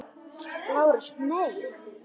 LÁRUS: Nei.